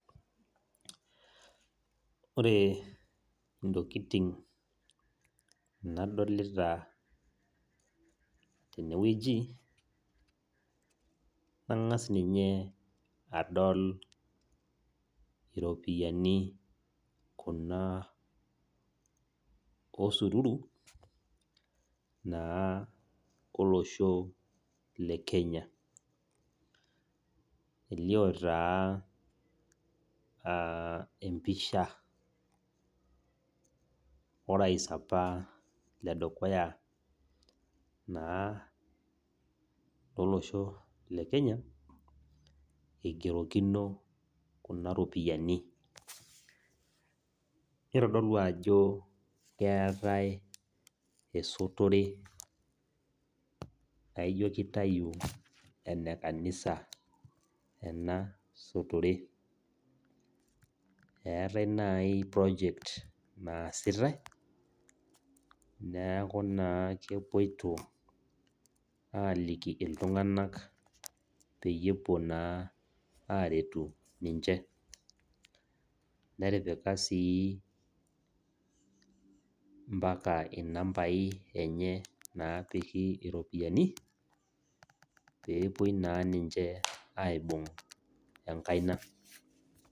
Ore ntokitin nadolita tenewueji ,angas ninye adol iropiyiani kuna osururu naa olosho lekenya , elio taa empisha orais apa ledukuya naa lolosho lekenya igerokino kuna ropiyiani nitodolu ajo keetae esotore naijo kitayu enekanisa enasotore , eetae nai project naasitae neeku naa kepoito aliki iltunganak peyie epuo naa aretu ninche , netipika sii impaka inambai enye napiki iropiyiani pepuoi naa ninche aibung enkaina.